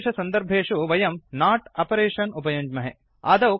एतादृषसन्दर्भेषु वयं not operation उपयुञ्ज्महे